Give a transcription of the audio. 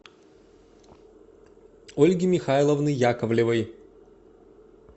ольги михайловны яковлевой